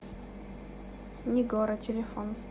нигора телефон